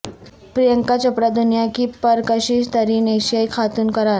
پریانکا چوپڑا دنیا کی پر کشش ترین ایشیائی خاتون قرار